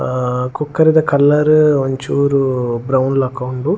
ಅಹ್ ಕೋಕರೆದ ಕಲರ್ ಒಂಚೂರು ಬ್ರೌನ್ ಲಕ ಉಂಡು.